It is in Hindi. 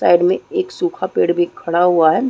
साइड में एक सूखा पेड़ भी खड़ा हुआ है।